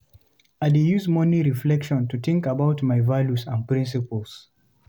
I dey use morning reflection to think about my values and principles.